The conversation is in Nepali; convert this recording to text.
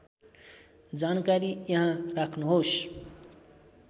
जानकारी यहाँ राख्नुहोस्